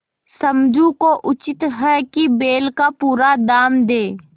समझू को उचित है कि बैल का पूरा दाम दें